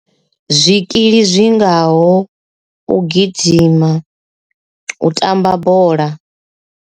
Zwikili zwingaho u gidima u tamba bola.